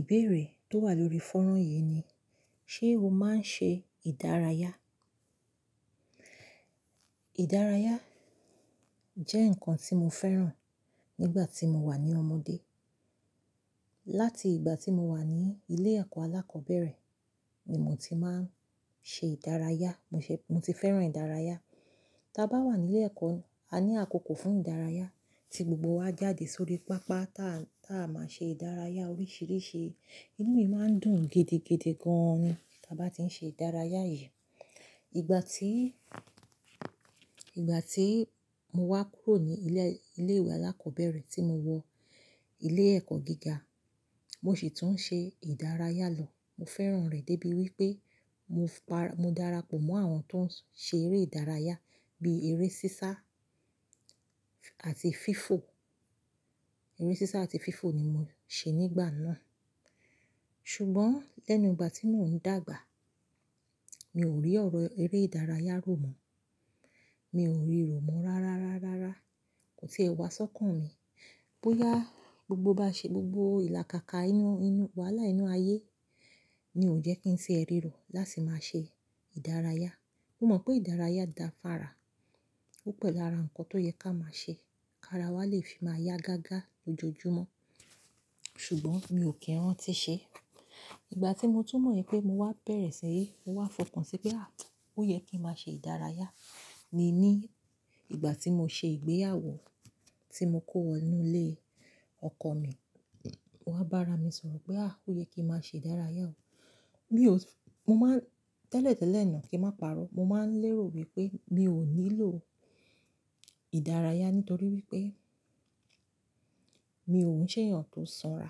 Ìbéèrè tó wà lórí fọ́rọ̀n yìí ni, ṣé o máa ń ṣe ìdárayá? Ìdárayá jẹ́ nǹkan tí mo fẹ́ràn nígbà tí mo wà ní ọmọdé. Láti ìgbà tí mo wà ní ilé ẹ̀kọ́ alákọ̀bẹ̀rẹ̀ ni mo ti máa ń ṣe ìdárayá, mo ti fẹ́ràn ìdárayá. Tí a bá wà ní ilé ẹ̀kọ́, a ní àkókò fún ìdárayá, tí gbogbo wa jáde sórí pápá tá a máa ṣe ìdárayá oríṣiríṣi. Inú mi máa ń dùn gidigidi gan ni tí a bá ti ń ṣe ìdárayá yìí. Ìgbà tí, ìgbà tí mo wá kúrò ní ilé ìwé alákọ̀bẹ̀rẹ̀ tí mo wọ ilé ẹ̀kọ́ gíga, mo sì tún ṣe ìdárayá lọ. Mo fẹ́ràn rẹ̀ débi wípé mo darapọ̀ mọ́ àwọn tó ń ṣe eré ìdárayá bí eré sísá àti fífò. Eré sísá àti fífò ni mo ṣe nígbà náà. Ṣùgbọ́n lẹ́nu ìgbà tí mò ń dàgbà, mi ò rí ọ̀rọ̀ eré ìdárayá rọ̀mọ́. Mi ò rí rọ̀mọ́ rárá, rárá, rárá. Ko ti ẹwà sọ́kàn mi. Bóyá gbogbo bá ṣe gbogbo ìlàkàkà inú, wàhálà inú ayé ni ò jẹ́ kí n ti ẹrí rọ̀ láti máa ṣe ìdárayá. Mo mọ̀ pé ìdárayá da fára, ó pẹ̀lú ara nǹkan tó yẹ ká máa ṣe kí ara wa lè fi máa yá gágá lójoojúmọ́. Ṣùgbọ́n mi ò kí n ranti ṣe é. Ìgbà tí mo tún mọ̀ wípé mo wá bẹ̀rẹ̀ sí, mo wá fòkan sí pé, à, ó yẹ kí n máa ṣe ìdárayá ni ní ìgbà tí mo ṣe ìgbéyàwó tí mo kó wọnú ilé ọkọ mi. Mo wá bá ara mi sọ̀rọ̀ pé, à, ó yẹ kí n máa ṣe ìdárayá o. Mi ò sí-- mo máa ń tẹ́lẹ̀tẹ́lẹ̀ náà kí n má pa'rọ́. Mo máa ń lérò wípé mi ò nílò ìdárayá nítorí wípé mi ò ń ṣe èèyàn tó sanra.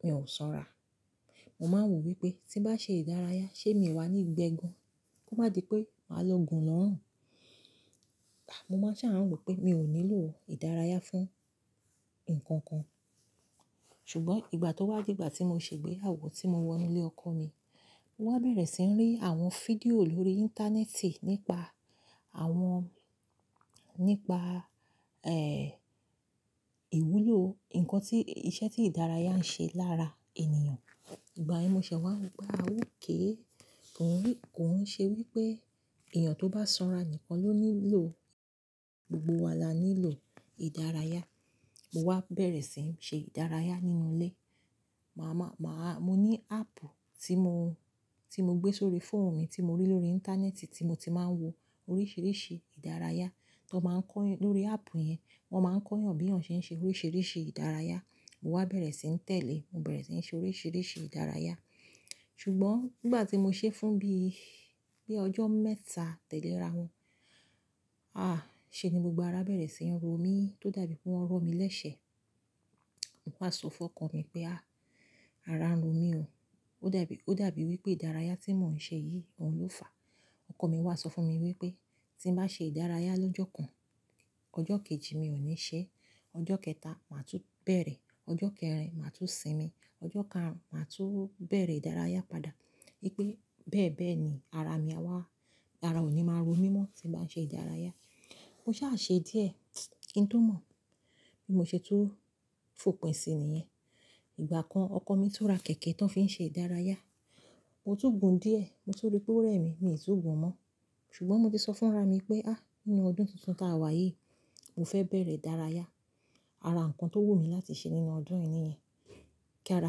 Mi ò sanra. Mo máa ń wò wípé tí n bá ṣe ìdárayá ṣé mi o wà ní gbẹ́ gan? Kó má di pé màá lọ gùn lọ́run. Mo máa sán rò pé mi ò nílò ìdárayá fún nǹkan kan. Ṣùgbọ́n ìgbà tó wá dìgbà tí mo ṣe ìgbéyàwó tí mo wọ inú ilé ọkọ mi, mo wá bẹ̀rẹ̀ sí ń rí àwọn fídíò lórí íńtánẹ́ẹ̀tì nípa àwọn, nípa, ìwúlò nǹkan tí, iṣẹ́ tí ìdárayá ń ṣe lára ènìyàn. Ìgbà yẹn mo ṣẹ̀ wá ri pé, a okay. Kò ń ṣe wípé èèyàn tó bá sanra nìkan ló nílò. Gbogbo wa la nílò ìdárayá. Mo wá bẹ̀rẹ̀ sì ń ṣe ìdárayá nínú ilé. Mo máa, mo ní áàpù tí mo, tí mo gbé sórí fóònù mi tí mo rí lórí íńtánẹ́ẹ̀tì tí mo ti máa ń wo oríṣiríṣi ìdárayá. Tí wọ́n maá ń kọ́ lórí áàpù yẹn, wọ́n máa ń kọ́ eeyàn bí eeyan ṣe ń ṣe oríṣiríṣi ìdárayá. Mo wá bẹ̀rẹ̀ sì ń tẹ̀lé, mo bẹ̀rẹ̀ sì ń ṣe oríṣiríṣi ìdárayá. Ṣùgbọ́n nígbà tí mo ṣe é fún bí, bí ọjọ́ mẹ́ta tẹ́lẹ̀ ra wọn, à, ṣé ni gbogbo ara bẹ̀rẹ̀ sí ń ro mí tó dàbí pé wọ́n rọ̀ mi lẹ́sẹ̀. Mo wá sọ fún ọkọ mi pé, à, ara ń ro mí o. Ó dàbí, ó dàbí wípé ìdárayá tí mò ń ṣe yìí, òhun ló fàá. Ọkọ mi wá sọ fún mi wípé tí mo bá ṣe ìdárayá lọ́jọ́ kan, ọjọ́ kejì mi ò ní ṣe é, ọjọ́ kẹta màá tún bẹ̀rẹ̀, ọjọ́ kẹrin màá tún sinmi, ọjọ́ karùn-ún màá tún bẹ̀rẹ̀ ìdárayá padà wípé bẹ́ẹ̀ bẹ́ẹ̀ ni ara mi á wá, ara òní máa ro mí mọ́ tí n bá n ṣe ìdárayá. Mo sáà ṣe díẹ̀. Kín tó mọ̀ bi mò ṣe tun fòpin sí níyẹn. Ìgbà kan ọkọ mi tun ra kẹ̀kẹ́ tó ń fi n ṣe ìdárayá. Mo túgun díẹ̀, mo tun rí pé ó rẹ̀ mí, mi ò tún gun mọ́. Ṣùgbọ́n mo ti sọ fún ara mi pé, à, nínú ọdún tuntun ta wá yìí, mo fẹ́ bẹ̀rẹ̀ ìdárayá. Ara nǹkan tó wù mí láti ṣe nínú ọdún yìí ni yen. Kí ara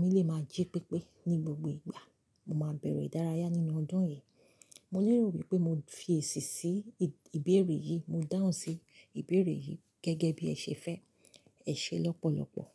mi lè máa jí pépé ní gbogbo ìgbà, mo máa bẹ̀rẹ̀ ìdárayá nínú ọdún yìí. Mo lérò wípé mo fi èsì sí ìbéèrè yìí, mo dáhùn sí ìbéèrè yìí gẹ́gẹ́ bí ẹ ṣe fẹ́. Ẹ ṣe lọ́pọ̀lọ́pọ̀.